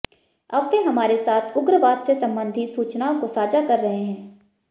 अब वे हमारे साथ उग्रवाद से संबंधित सूचनाओं को साझा कर रहे हैं